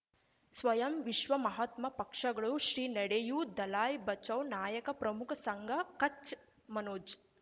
ಸ್ವಯಂ ವಿಶ್ವ ಮಹಾತ್ಮ ಪಕ್ಷಗಳು ಶ್ರೀ ನಡೆಯೂ ದಲೈ ಬಚೌ ನಾಯಕ ಪ್ರಮುಖ ಸಂಘ ಕಚ್ ಮನೋಜ್